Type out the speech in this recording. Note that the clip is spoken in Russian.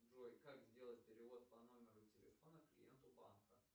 джой как сделать перевод по номеру телефона клиенту банка